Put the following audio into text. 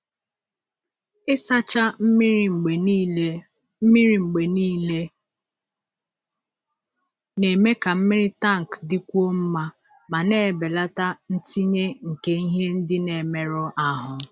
Ịsacha mmiri mgbe niile mmiri mgbe niile na-eme ka mmiri tank dịkwuo mma ma na-ebelata ntinye nke ihe ndị na-emerụ ahụ.